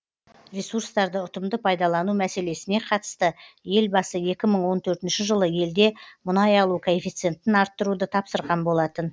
ресурстарды ұтымды пайдалану мәселесіне қатысты елбасы екі мың он төртінші жылы елде мұнай алу коэффицентін арттыруды тапсырған болатын